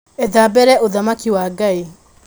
Etha mbere Ũthamaki wa Ngai